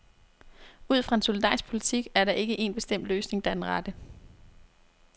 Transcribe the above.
Ud fra en solidarisk politik er der ikke en bestemt løsning, der er den rette.